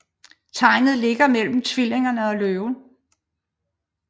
Tegnet ligger mellem Tvillingerne og Løven